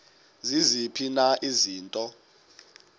ziziphi na izinto